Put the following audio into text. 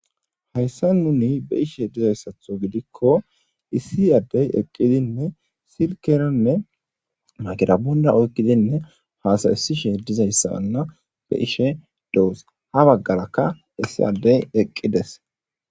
Hayssan nuuni beishe dizaysatho giidikko issi addey eqqidinne silkeranne maygirapponera oykkidinne hasaisishshe diizayssana beishe doos ha baggaraka issi adddy eqqides.